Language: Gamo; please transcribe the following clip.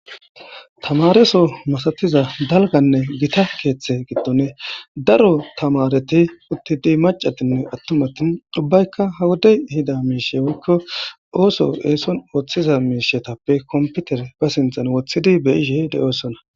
Tamaareso masatiza dalganne gita keethe giddoni daro tamaareti uttidi maccatinne atumatin ubbaykka ha wodey ihida miishshe woykko ooso eson oothiza miishshetappe kompitere be sinthan woththidi be'ishe de'osonna.